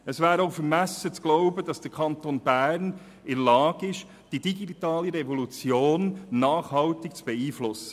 Es wäre auch vermessen zu glauben, der Kanton Bern sei in der Lage, die digitale Revolution nachhaltig zu beeinflussen.